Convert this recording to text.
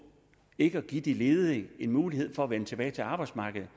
ikke at give de ledige mulighed for at vende tilbage arbejdsmarkedet